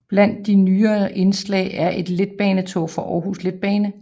Blandt de nyere indslag er et letbanetog fra Aarhus Letbane